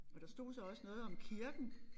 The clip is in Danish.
Og der stod så også noget om kirken